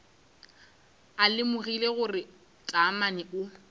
a lemogile gore taamane o